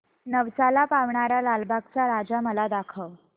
नवसाला पावणारा लालबागचा राजा मला दाखव